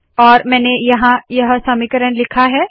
और मैंने यहाँ यह समीकरण लिखा है